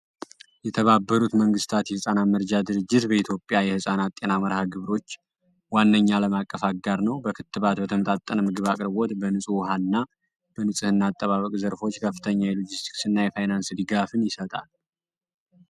የህጻናት መርጃ ድርጅት በኢትዮጵያ የህጻናት ጤና መርሃ ግብሮች ዋነኛ አለም አቀፍ ድርጅት ነው። ክትባት የጠመጣጠነ ምግብ አቅርቦት በንጽህና አጠባበቅ ዘርፎች የፋይናንስ አገልግሎት ይሰጣል።